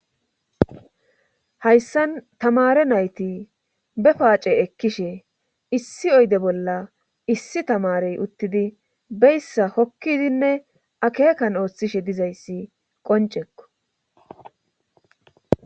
Hayssan tamare nayti be paace ekkishe issi oyde bolla issi tamarey uttidi beyssa hokkidinne akeekan ooththishe dizayssi qoncekko.